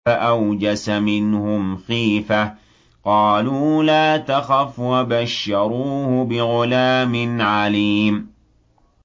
فَأَوْجَسَ مِنْهُمْ خِيفَةً ۖ قَالُوا لَا تَخَفْ ۖ وَبَشَّرُوهُ بِغُلَامٍ عَلِيمٍ